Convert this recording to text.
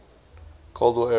cold war era